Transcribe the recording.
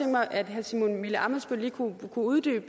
mig at herre simon emil ammitzbøll kunne uddybe